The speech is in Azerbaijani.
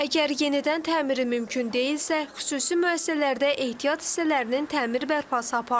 Əgər yenidən təmiri mümkün deyilsə, xüsusi müəssisələrdə ehtiyat hissələrinin təmir bərpası aparılır.